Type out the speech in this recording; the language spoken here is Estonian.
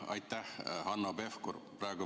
Aitäh, Hanno Pevkur!